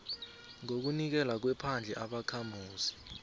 ngokunikelwa kwephandle ubakhamuzi